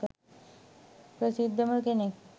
ප්‍රසිද්දම කෙනෙක්